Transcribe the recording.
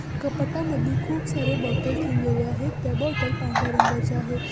कपाटामध्ये खुप सारे बॉटल ठेवलेले आहे. त्या बॉटल पांढर्‍या रंगाच्या आहेत.